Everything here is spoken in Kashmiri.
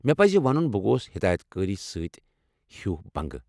مےٚ پزِ ونُن بہٕ گوس ہدایت کٲری سۭتۍ ہیہ بَنگہٕ ۔